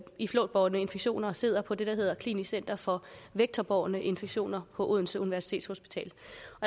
i flåtbårne infektioner og sidder på det der hedder klinisk center for vektorbårne infektioner på odense universitetshospital